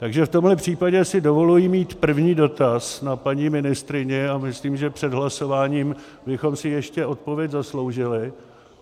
Takže v tomhle případě si dovoluji mít první dotaz na paní ministryni, a myslím, že před hlasováním bychom si ještě odpověď zasloužili.